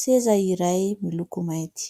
seza iray miloko mainty.